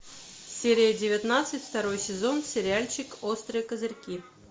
серия девятнадцать второй сезон сериальчик острые козырьки